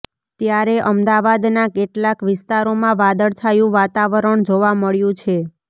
ત્યારે અમદાવાદના કેટલાંક વિસ્તારોમાં વાદળછાયું વાતાવરણ જોવા મળ્યું છે